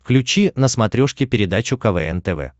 включи на смотрешке передачу квн тв